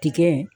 Tikɛ